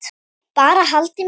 Bara haldið mig heima!